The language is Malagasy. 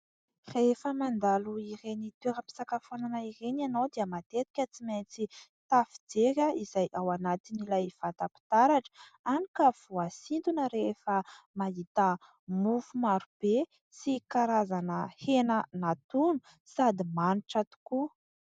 Rehefa mandalo ireny toeram-pisakafoanana ireny ianao dia matetika tsy maintsy tafijery izay ao anatiny ilay vata-pitaratra, hany ka voasintona rehefa mahita mofo marobe sy karazana hena natono sady manitra tokoa.